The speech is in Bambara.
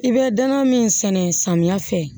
I bɛ dana min sɛnɛ samiya fɛ